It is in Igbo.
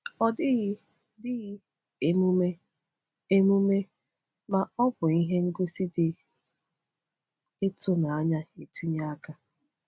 Ọ dịghị dịghị emume, emume, ma ọ bụ ihe ngosi dị ịtụnanya etinye aka.